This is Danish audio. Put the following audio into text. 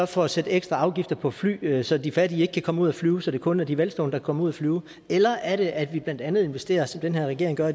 for at sætte ekstra afgifter på flyrejser så de fattige ikke kan komme ud og flyve og så det kun er de velstående komme ud og flyve eller er det at vi blandt andet investerer som den her regering gør